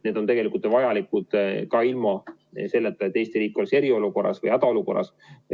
See on tegelikult vajalik ka ilma selleta, et Eesti riik on eriolukorras või hädaolukorras.